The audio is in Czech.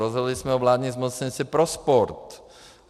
Rozhodli jsme o vládním zmocněnci pro sport.